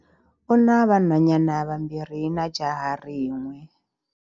U na vanhwanyana vambirhi na jaha rin'we